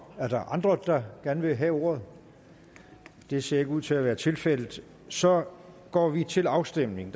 er der andre der gerne vil have ordet det ser ikke ud til at være tilfældet så går vi til afstemning